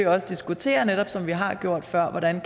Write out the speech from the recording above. også diskutere som vi har gjort før hvordan